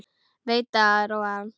Veit að það róar hann.